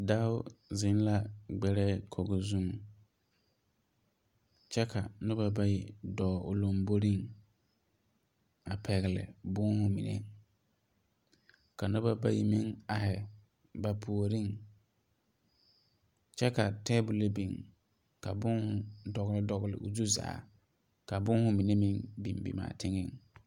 Dao zeŋ la gbɛrɛɛ kogo zu kyɛ ka nobɔ bayi dɔɔ o lomboriŋ, a pɛgele bõõhõ menɛ. Ka noba bayi meŋ ahɛ ba puoriŋ. Kyɛ ka teebulo biŋ ka bõõhõ dɔgele o zu zaa ka bõõhõ menɛ meŋ bim bim’a teŋeŋ.